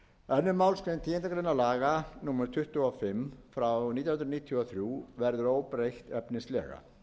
annarrar málsgreinar tíundu grein laga númer tuttugu og fimm nítján hundruð níutíu og þrjú verður óbreytt efnislega